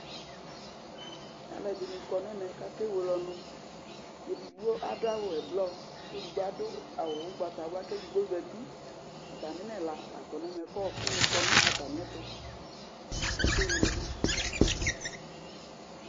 Alu ɛdɩnɩ kɔ n'ɛmɛ kʋ ake welɔnʋ Edigbo adu awʋ ɛblɔ edigbo adu awʋ ugbatawla, k'edigbo zǝtɩ Ataminɛla la kɔ n'ɛmɛ, kʋ ɔɔkʋ ni kɔ nʋ atamɩɛtʋ, k'akewele